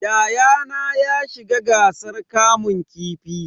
Yayana ya shiga gasar kamun kifi.